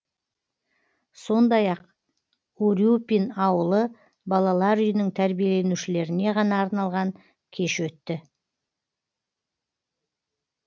сондай ақ урюпин ауылы балалар үйінің тәрбиеленушілеріне ғана арналған кеш өтті